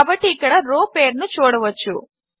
కాబట్టి ఇక్కడ రో పేరును చూడవచ్చు